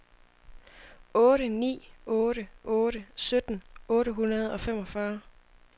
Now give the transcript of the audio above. otte ni otte otte sytten otte hundrede og femogfyrre